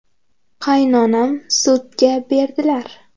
Qaynonam sudga berdilar.